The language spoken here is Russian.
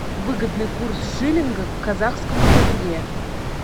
выгодный курс шиллинга к казахскому тенге